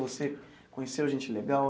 Você conheceu gente legal?